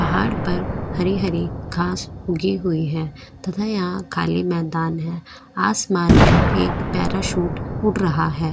पहाड़ पर हरी हरी घास उगी हुई है यहां खाली मैदान है आसमान में एक पैराशूट उठ रहा है।